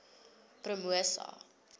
promosa